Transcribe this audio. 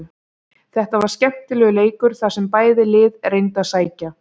Þetta var skemmtilegur leikur þar sem bæði lið reyndu að sækja.